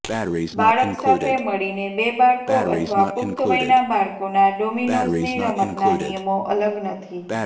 બાળક સાથે મળીને બે બાળકો અથવા પુખ્ત વયના બાળકોના ડોમીનોઝની રમતના નિયમો અલગ નથી